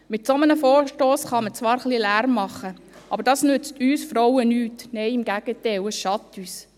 Mit einem solchen Vorstoss kann man zwar etwas Lärm machen, aber das nützt uns Frauen nichts, im Gegenteil, es schadet uns.